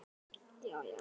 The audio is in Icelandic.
Þekkjum við hana?